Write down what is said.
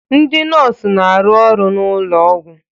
Ndị nọọsụ na-arụ ọrụ n'ụlọ ọgwụ